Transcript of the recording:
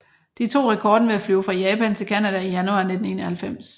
De tog rekorden ved at flyve fra Japan til Canada i januar 1991